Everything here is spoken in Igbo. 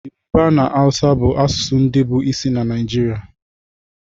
Yorùbá na áwúsa bụ asụsụ ndị bụ isi na Naịjirịa